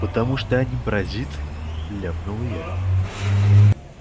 потому что они паразит ляпнул я